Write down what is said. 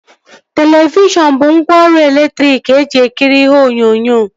Televishọn bụ ngwaọrụ elektriki eji ekiri ihe onyonyo